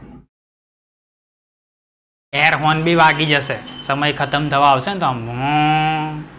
air horn બી વાગી જશે. સમય ખત્મ થવા આવશે ને તો આમ હો,